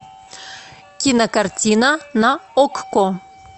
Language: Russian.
кинокартина на окко